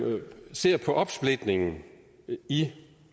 ser på opsplitningen i